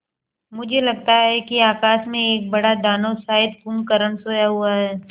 मुझे लगता है कि आकाश में एक बड़ा दानव शायद कुंभकर्ण सोया हुआ है